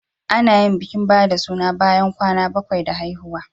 Ana yin bikin ba da suna bayan kwana bakwai da haihuwa.